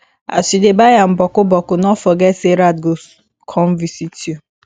as yu dey buy am bokku bokku no forget sey rat go kon visit yu